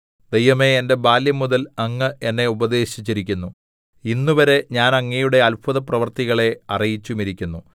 ദൈവമേ എന്റെ ബാല്യംമുതൽ അങ്ങ് എന്നെ ഉപദേശിച്ചിരിക്കുന്നു ഇന്നുവരെ ഞാൻ അങ്ങയുടെ അത്ഭുതപ്രവൃത്തികളെ അറിയിച്ചുമിരിക്കുന്നു